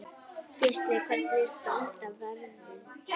Gísli: Hvernig standa verðin?